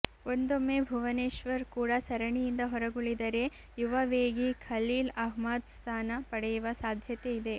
ಒಂದೊಮ್ಮೆ ಭುವನೇಶ್ವರ್ ಕೂಡ ಸರಣಿಯಿಂದ ಹೊರಗುಳಿದರೆ ಯುವ ವೇಗಿ ಖಲೀಲ್ ಅಹ್ಮದ್ ಸ್ಥಾನ ಪಡೆಯುವ ಸಾಧ್ಯತೆ ಇದೆ